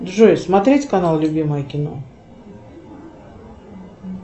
джой смотреть канал любимое кино